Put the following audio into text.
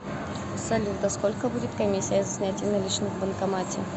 салют а сколько будет комиссия за снятие наличных в банкомате